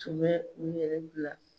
Tun bɛ u yɛrɛ bila